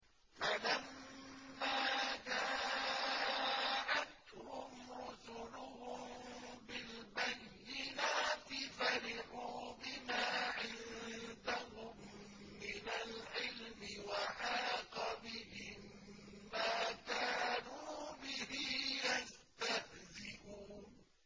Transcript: فَلَمَّا جَاءَتْهُمْ رُسُلُهُم بِالْبَيِّنَاتِ فَرِحُوا بِمَا عِندَهُم مِّنَ الْعِلْمِ وَحَاقَ بِهِم مَّا كَانُوا بِهِ يَسْتَهْزِئُونَ